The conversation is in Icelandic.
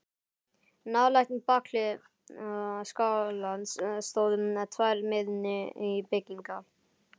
Nálægt bakhlið skálans stóðu tvær minni byggingar.